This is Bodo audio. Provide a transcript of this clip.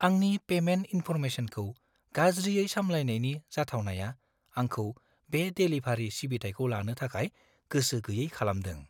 आंनि पेमेन्ट इनफर्मेसनखौ गाज्रियै साम्लायनायनि जाथावनाया आंखौ बे देलिभारी सिबिथाइखौ लानो थाखाय गोसो गैयै खालामदों।